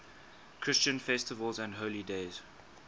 christian festivals and holy days